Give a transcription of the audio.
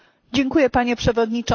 Panie Przewodniczący!